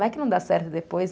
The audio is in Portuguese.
Vai que não dá certo depois.